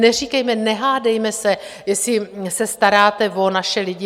Neříkejme, nehádejme se, jestli se staráte o naše lidi.